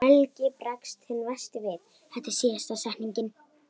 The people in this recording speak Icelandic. Helgi bregst hinn versti við.